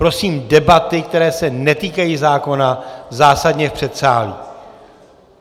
Prosím, debaty, které se netýkají zákona, zásadně v předsálí.